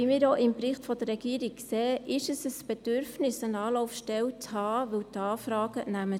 Wie wir auch im Bericht der Regierung sehen, ist es ein Bedürfnis, eine Anlaufstelle zu haben, weil die Anfragen zunehmen.